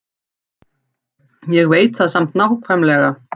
Ég veit það samt nákvæmlega.